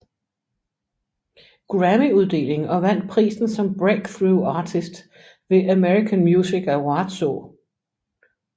Grammyuddeling og vandt prisen som Breakthrough Artist ved American Music Awardså